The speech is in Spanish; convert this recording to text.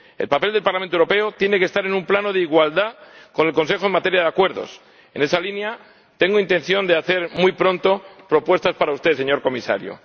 El papel del Parlamento Europeo tiene que estar en un plano de igualdad con el Consejo en materia de acuerdos. En esa línea, tengo intención de hacer muy pronto propuestas para usted, señor Comisario.